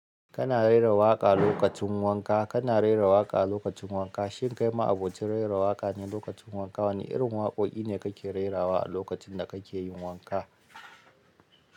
Kana rera waƙa lokacin wanka. Kana rera waƙa lokacin wanka. Shin kai ma'abocin rera waƙa ne lokacin wanka? Wane irin waƙoƙi ne kake rerawa a lokacin da kake yin wanka?